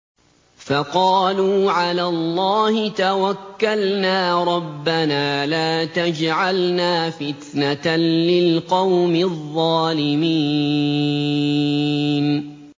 فَقَالُوا عَلَى اللَّهِ تَوَكَّلْنَا رَبَّنَا لَا تَجْعَلْنَا فِتْنَةً لِّلْقَوْمِ الظَّالِمِينَ